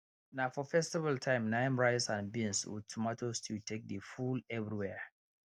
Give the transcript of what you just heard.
na for festival time na im rice and beans with tomato stew take dey full everywhere